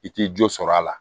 I ti jo sɔrɔ a la